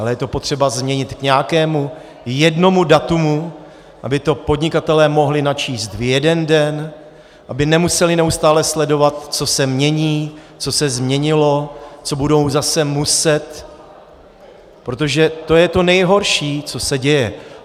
Ale je to potřeba změnit k nějakému jednomu datu, aby to podnikatelé mohli načíst v jeden den, aby nemuseli neustále sledovat, co se mění, co se změnilo, co budou zase muset, protože to je to nejhorší, co se děje.